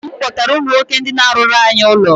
Nna m kpọtara ụmụ nwoke ndị na-arụrụ anyị ụlọ.